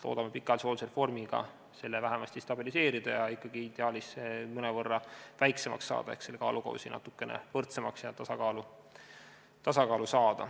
Loodame pikaajalise hoolduse reformiga vähemasti seda stabiliseerida ja ideaalis ikkagi mõnevõrra väiksemaks muuta ehk saada selle kaalukausi natukene võrdsemaks ja tasakaalu.